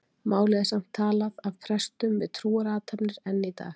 Málið er samt talað af prestum við trúarathafnir enn í dag.